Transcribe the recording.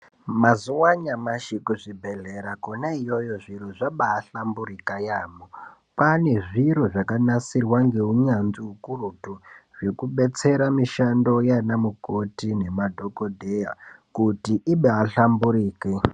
Mazuwa anyamashi kuzvibhedhlera kwona iyoyo zviro zvabahlamburika kwemene. Kwaane zviro zvakanasirwa ngeunyanvzi ukurutu zvekubetsera mishando yaanamukoti madhokodheya kuti ibaanhlamburike.